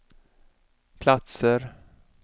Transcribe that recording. platser